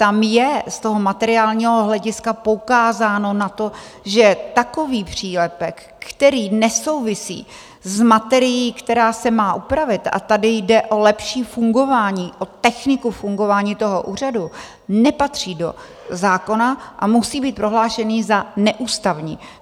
Tam je z toho materiálního hlediska poukázáno na to, že takový přílepek, který nesouvisí s materií, která se má upravit - a tady jde o lepší fungování, o techniku fungování toho úřadu - nepatří do zákona a musí být prohlášen za neústavní.